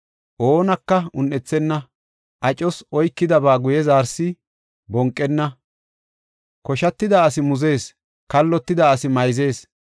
Oonaka un7ethenna; acos oykidaba guye zaarees, bonqenna; koshatida asi muzees; kallotida asi mayzees;